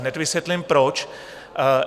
Hned vysvětlím proč.